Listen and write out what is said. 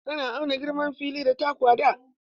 Ana auna girman fili da taku a da.